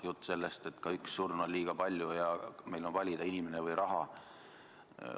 Jutt käib sellest, et ka üks surm on liiga palju ja meil on valida, kas inimene või raha.